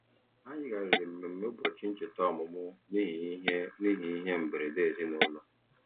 Ha yigharịrị mmemme ụbọchị ncheta ọmụmụ n'ihi ihe n'ihi ihe mberede ezinụụlọ.